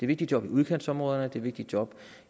vigtige job i udkantsområderne det er vigtige job